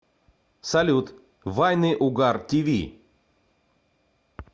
салют вайны угар ти ви